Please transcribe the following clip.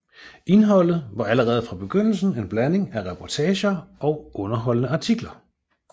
Indholdet var allerede fra begyndelsen en blanding af reportager og underholdende artikler